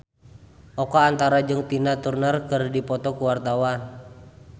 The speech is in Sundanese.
Oka Antara jeung Tina Turner keur dipoto ku wartawan